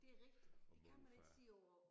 Det er rigtig det kan man ikke sige på